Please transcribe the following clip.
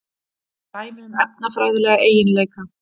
Dæmi um efnafræðilega eiginleika.